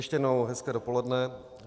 Ještě jednou hezké dopoledne.